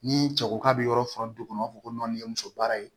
Ni cɛ ko k'a be yɔrɔ faga du kɔnɔ u b'a fɔ ko nɔni ye muso baara ye